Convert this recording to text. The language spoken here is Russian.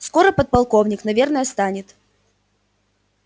скоро подполковник наверное станет